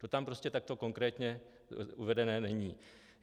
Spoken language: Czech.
To tam prostě takto konkrétně uvedené není.